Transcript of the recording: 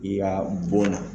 I y'a bɔn na.